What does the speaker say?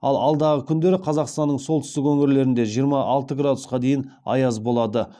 ал алдағы күндері қазақстанның солтүстік өңірлерінде жиырма алты градусқа дейін аяз болады